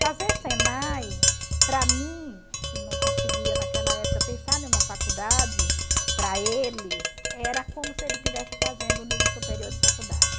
Fazer Senai, para mim, que não conseguia naquela época pensar em uma faculdade, para eles, era como se ele estivesse fazendo um nível superior de faculdade.